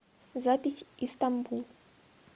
запись истанбул